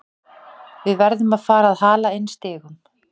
Við verðum að fara að hala inn stigum.